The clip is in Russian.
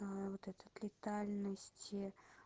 вот этот летальности